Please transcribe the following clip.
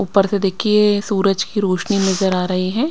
ऊपर से देखिए सूरज की रोशनी नजर आ रही है।